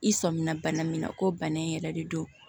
I sɔminna bana min na ko bana in yɛrɛ de don